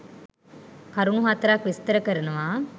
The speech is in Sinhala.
කරුණු හතරක් විස්තර කරනවා.